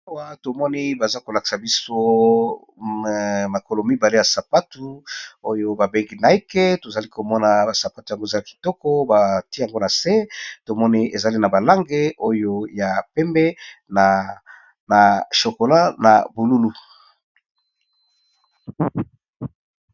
Baawa tomoni baza kolakisa biso makolo mibale ya sapatu oyo babengi naike tozali komona basapatu ya moza ya kitoko bati yango na se tomoni ezali na balange oyo ya pembe na chokola na bolulu.